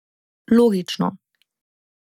Logično.